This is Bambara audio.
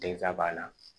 Delita b'a la